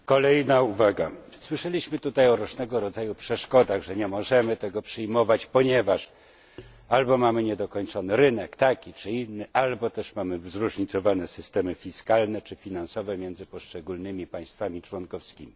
Kolejna uwaga słyszeliśmy tutaj o różnego rodzaju przeszkodach, że nie możemy tego przyjmować, ponieważ albo mamy niedokończony rynek, taki czy inny, albo też mamy zróżnicowane systemy fiskalne czy finansowe między poszczególnymi państwami członkowskimi.